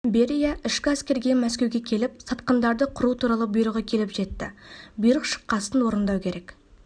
берия ішкі әскерге мәскеуге келіп сатқындарды қыру туралы бұйрығы келіп жетті бұйрық шыққасын орындау керек